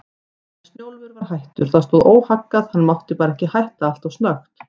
En Snjólfur var hættur, það stóð óhaggað, hann mátti bara ekki hætta alltof snöggt.